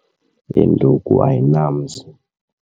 Induku ayinamzi.